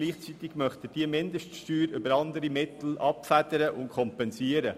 Gleichzeitig möchte er diese Mindeststeuer über andere Mittel abfedern und kompensieren.